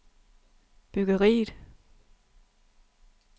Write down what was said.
byggeriet